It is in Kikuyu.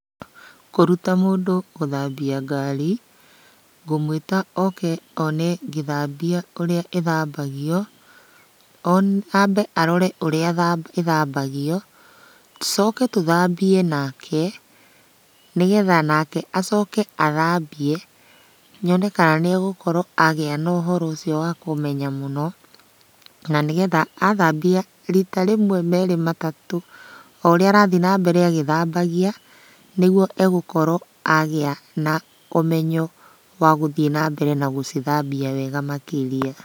Kũruta mũndũ gũthambia ngari, ngũmũĩta oke one ngĩthambia ũrĩa ĩthambagio. One ambe arore ũrĩa ĩthambagio, tũcoke tũthambie nake, nĩgetha nake acoke athambie, nyone kana nĩegũkorwo agĩa na ũhoro ũcio wa kũmenya mũno, na nĩgetha athambia rita rĩmwe merĩ matatũ, o ũrĩa arathiĩ na mbere agĩthambagia, nĩguo egũkorwo agĩa na ũmenyo wa gũthiĩ na mbere na gũcithambia wega makĩria.